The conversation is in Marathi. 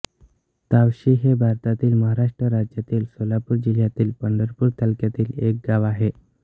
तावशी हे भारतातील महाराष्ट्र राज्यातील सोलापूर जिल्ह्यातील पंढरपूर तालुक्यातील एक गाव आहे